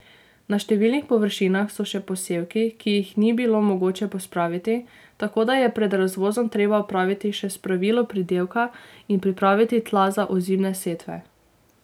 Na številnih površinah so še posevki, ki jih ni bilo mogoče pospraviti, tako da je pred razvozom treba opraviti še spravilo pridelka in pripraviti tla za ozimne setve.